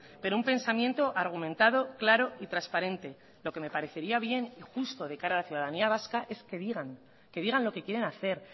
pero un pensamiento argumentado claro y transparente lo que me parecería bien y justo de cara a la ciudadanía vasca es que digan que digan lo que quieren hacer